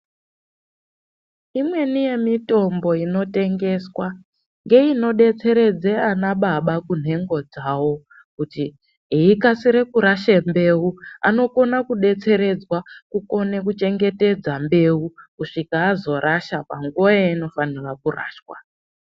Imweni yemitombo inotengeswa, ngeyinodetseredze anababa kunhengo dzawo, kuti eyikashire kurashe mbewu, anokona kudetseredzwa kukone kuchengetedza mbewu kuswika azorasha panguwa yayinofanirwa kurashwa.